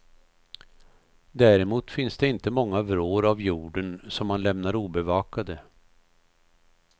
Däremot finns det inte många vrår av jorden som han lämnar obevakade.